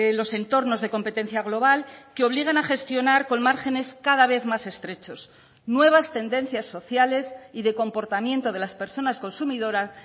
los entornos de competencia global que obligan a gestionar con márgenes cada vez más estrechos nuevas tendencias sociales y de comportamiento de las personas consumidoras